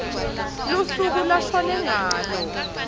lusuku lashone ngalo